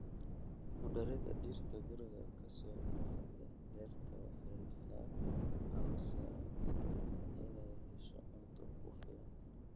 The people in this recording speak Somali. Ku darida dhirta guriga ka soo baxda nectar waxay ka caawisaa shinni inay hesho cunto ku filan.